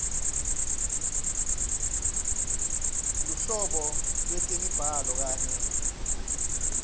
luhlobo lwetemibhalo kanye